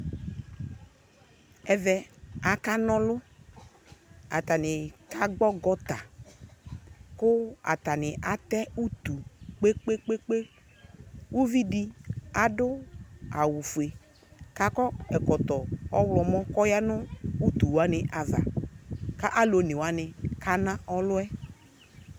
ɛvɛ akana ɔlʋ atani kagbɔ gɔnta kʋ atani atɛ ʋtʋ kpekpekpee ʋvidi adʋ awʋƒʋe ʋvidi adʋ ɛkɔtɔ awʋmɔ kɔyanʋ ʋtʋ wani ava kana ɔlʋɛ